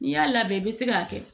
N'i y'a labɛn i bi se k'a kɛ